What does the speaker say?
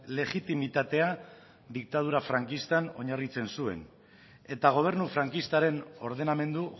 legitimitatea diktadura frankistan oinarritzen zuen eta gobernu frankistaren ordenamendu